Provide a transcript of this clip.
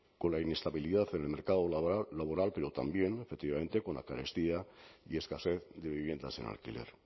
con la inestabilidad en el mercado laboral pero también efectivamente con la carestía y escasez de viviendas en alquiler